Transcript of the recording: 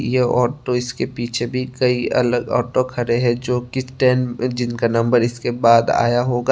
यह ऑटो इसके पीछे भी कई अलग ऑटो खड़े हैं जो की स्टैंड जिनका नंबर इसके बाद आया होगा।